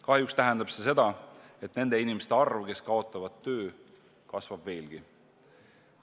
Kahjuks tähendab see seda, et nende inimeste arv, kes kaotavad töö, kasvab veelgi.